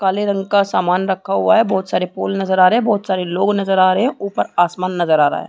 काले रंग का सामान रखा हुआ है बहुत सारे पोल नज़र आ रहे है बहुत सारे लोग नज़र आ रहे है ऊपर आसमान नज़र आ रहा है।